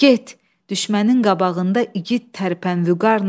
Get, düşmənin qabağında igid tərpən vüqarla.